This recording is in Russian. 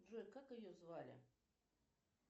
джой как ее звали